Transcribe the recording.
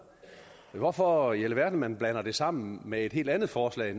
hvorfor i alverden man blander det sammen med et helt andet forslag